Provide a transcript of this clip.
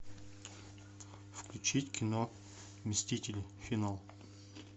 включить кино мстители финал